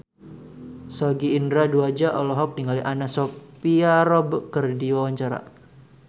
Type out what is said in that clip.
Sogi Indra Duaja olohok ningali Anna Sophia Robb keur diwawancara